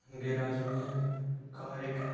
Garage में car एक है।